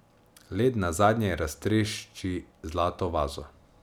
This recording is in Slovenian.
Led nazadnje raztrešči zlato vazo.